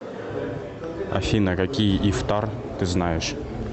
афина какие ифтар ты знаешь